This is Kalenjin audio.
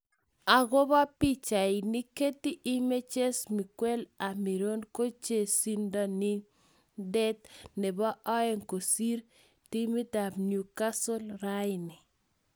Agopo pichainik: Getty images Miguel Amiron ko chezonindet nepo oeng kosir timit ap Newcatle raini.